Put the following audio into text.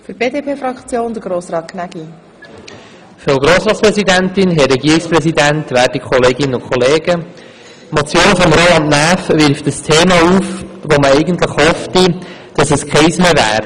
Die Motion von Roland Näf wirft ein Thema auf, von dem man eigentlich gehofft hätte, dass es keines mehr ist: